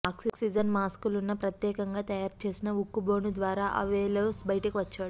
oxygen మాస్కులున్న ప్రత్యేకంగా తయారు చేసిన ఉక్కు బోను ద్వారా అవెలోస్ బయటకు వచ్చాడు